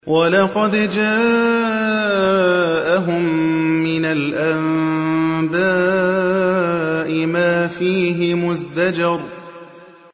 وَلَقَدْ جَاءَهُم مِّنَ الْأَنبَاءِ مَا فِيهِ مُزْدَجَرٌ